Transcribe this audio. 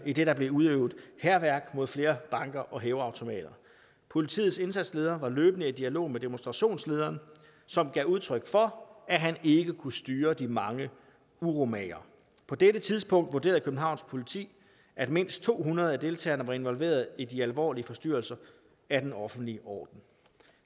idet der blev udøvet hærværk mod flere banker og hæveautomater politiets indsatsleder var løbende i dialog med demonstrationslederen som gav udtryk for at han ikke kunne styre de mange uromagere på dette tidspunkt vurderede københavns politi at mindst to hundrede af deltagerne var involverede i de alvorlige forstyrrelser af den offentlige orden